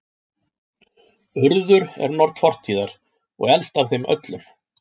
Urður er norn fortíðar og elst af þeim öllum.